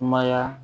Kumaya